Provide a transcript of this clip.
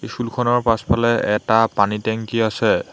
School খনৰ পাছফালে এটা পানীৰ টেংকি আছে।